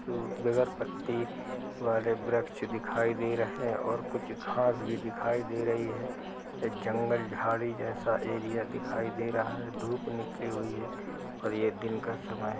सु बेगर पत्ती वाले वृक्ष दिखाई दे रहे और कुछ घास भी दिखाई दे रही है। जंगल झाड़ी जैसा एरिया दिखाई दे रहा है। धूप निकली हुई है और ये दिन का समय --